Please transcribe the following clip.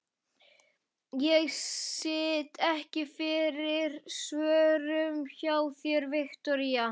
Ég sit ekki fyrir svörum hjá þér, Viktoría.